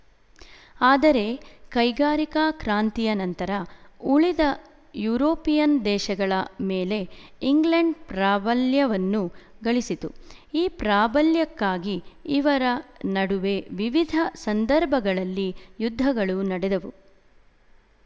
ಆದರೆ ಕೈಗಾರಿಕಾ ಕ್ರಾಂತಿಯ ನಂತರ ಉಳಿದ ಯುರೋಪಿಯನ್ ದೇಶಗಳ ಮೇಲೆ ಇಂಗ್ಲೆಂಡ್ ಪ್ರಾಬಲ್ಯವನ್ನು ಗಳಿಸಿತು ಈ ಪ್ರಾಬಲ್ಯಕ್ಕಾಗಿ ಇವರ ನಡುವೆ ವಿವಿಧ ಸಂದರ್ಭಗಳಲ್ಲಿ ಯುದ್ಧಗಳು ನಡೆದವು